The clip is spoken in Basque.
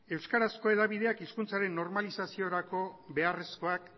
euskarazko hedabideek hizkuntzaren normalizaziorako beharrezkoak